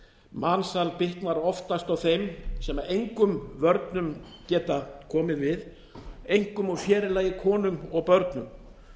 mansal bitnar oftast á þeim sem engum vörnum geta komið við einkum og sér í lagi konum og börnum